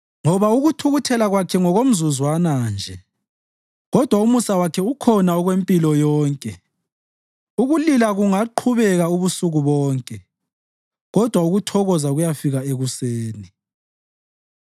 Ngoba ukuthukuthela Kwakhe ngokomzuzwana nje, kodwa umusa wakhe ukhona okwempilo yonke; ukulila kungaqhubeka ubusuku bonke, kodwa ukuthokoza kuyafika ekuseni.